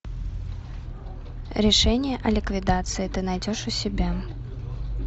решение о ликвидации ты найдешь у себя